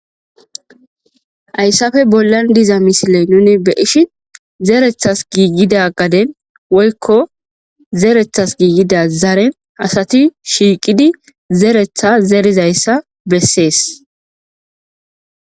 Hayssafe bollan diza misile nuni beishin zerethas giiggida gaden woykko zerethas giigida zaren asati shiiqidi zeretha zerizayssa bessees